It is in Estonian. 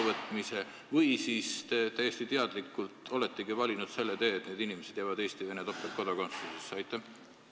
Või te olete täiesti teadlikult valinud selle tee, et neil inimestel on topeltkodakondsus, Eesti ja Venemaa oma?